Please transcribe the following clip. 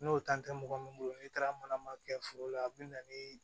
N'o tan tɛ mɔgɔ min bolo n'i taara mana ma kɛ foro la a bɛ na ni